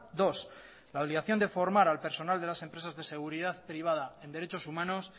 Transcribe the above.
dos la obligación de formar al personal de las empresas de seguridad privada en derechos humanos